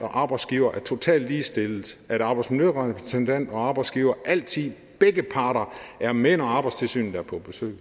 og arbejdsgiver er totalt ligestillet at arbejdsmiljørepræsentant og arbejdsgiver altid begge parter er med når arbejdstilsynet er på besøg